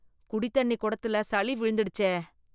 குடி தண்ணி குடத்துல சளி விழுந்துடுடச்சே.